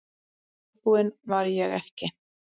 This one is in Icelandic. En viðbúin var ég ekki.